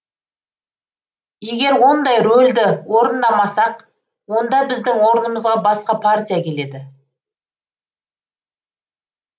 егер ондай рөлді орындамасақ онда біздің орнымызға басқа партия келеді